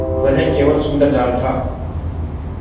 वह केवल सुंदर जाल था